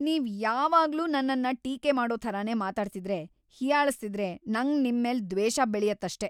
ನೀವ್‌ ಯಾವಾಗ್ಲೂ ನನ್ನನ್ನ ಟೀಕೆ ಮಾಡೋ ಥರನೇ ಮಾತಾಡ್ತಿದ್ರೆ, ಹೀಯಾಳಿಸ್ತಿದ್ರೆ ನಂಗ್‌ ನಿಮ್ಮೇಲ್‌ ದ್ವೇಷ ಬೆಳ್ಯತ್ತಷ್ಟೇ.